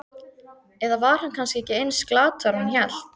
Eða var hann kannski ekki eins glataður og hann hélt?